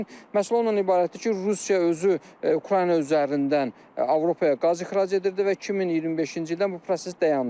məsələ ondan ibarətdir ki, Rusiya özü Ukrayna üzərindən Avropaya qaz ixrac edirdi və 2025-ci ildən bu proses dayandı.